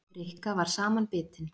Rikka var samanbitin.